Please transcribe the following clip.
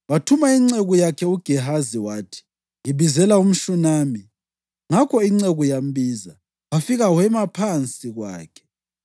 Wathuma inceku yakhe uGehazi, wathi, “Ngibizela umShunami.” Ngakho inceku yambiza, wafika wema phansi kwakhe.